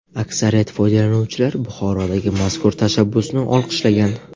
Aksariyat foydalanuvchilar Buxorodagi mazkur tashabbusni olqishlagan.